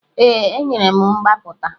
Ee, enyere m mgbapụta.